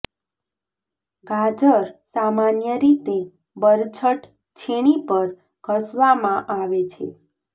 ગાજર સામાન્ય રીતે બરછટ છીણી પર ઘસવામાં આવે છે